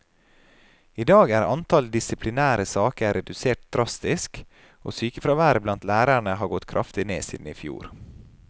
I dag er antall disiplinære saker redusert drastisk, og sykefraværet blant lærerne har gått kraftig ned siden i fjor.